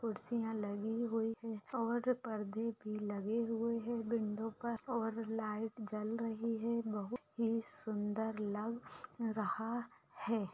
कुर्सियां लगी हुई हैं और पर्दे भी लगे हुए हैं विंडो पर और लाइट जल रही हैं बहुत ही सुन्दर लग रहा है।